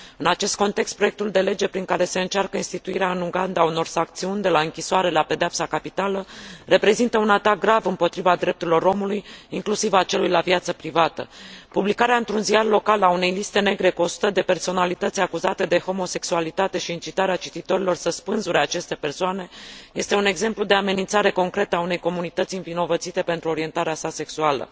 În acest context, proiectul de lege prin care se încearcă instituirea, în Uganda, a unor sancțiuni, de la închisoare la pedeapsa capitală, reprezintă un atac grav împotriva drepturilor omului, inclusiv a celui la viață privată. Publicarea, într un ziar local, a unei liste negre cu 100 de personalități acuzate de homosexualitate și incitarea cititorilor să spânzure aceste persoane este un exemplu de amenințare concretă a unei comunități învinovățite pentru orientarea sa sexuală.